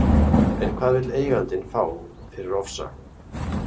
En hvað vill eigandinn fá fyrir Ofsa?